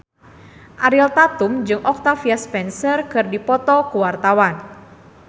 Ariel Tatum jeung Octavia Spencer keur dipoto ku wartawan